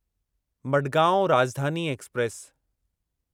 Madgaon Rajdhani express